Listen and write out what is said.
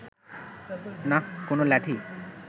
নাহ, কোনো লাঠি